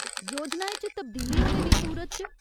योजनाएं च तब्दीली होने दी सूरत च ?